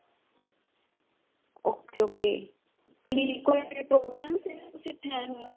ok ok. ਕਿ ਕੋਈ program ਤੁਸੀਂ ਇਥੇ ਆਏ ਹੋਏ